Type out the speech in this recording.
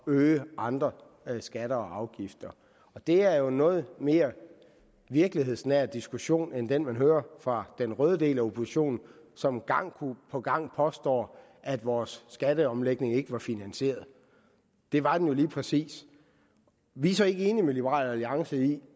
øge andre skatter og afgifter det er jo en noget mere virkelighedsnær diskussion end den man hører fra den røde del af oppositionen som gang på gang påstår at vores skatteomlægning ikke var finansieret det var den jo lige præcis vi er så ikke enige med liberal alliance i